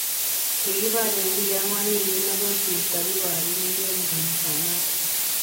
Kigiborien biik agwan wigit negosirto kiboriinik en inganasanoton.